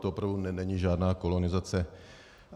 To opravdu není žádná kolonizace.